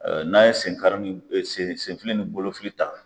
N'an ye sen kari; ni sen fili ni bolofi ta